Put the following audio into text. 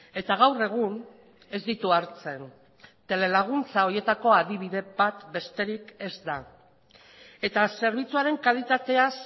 eta gaur egun ez ditu hartzen telelaguntza horietako adibide bat besterik ez da eta zerbitzuaren kalitatea